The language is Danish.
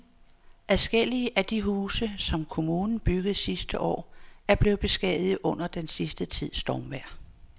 Adskillige af de huse, som kommunen byggede sidste år, er blevet beskadiget under den sidste tids stormvejr.